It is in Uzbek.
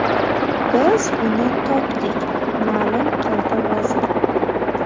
Biz uni topdik”, ma’lum qildi vazir.